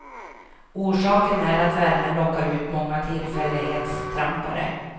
Orsaken är att värmen lockar ut många tillfällighetstrampare.